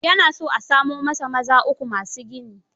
Ya na so a samo masa maza uku ma su gini.